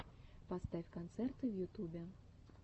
поставь концерты в ютубе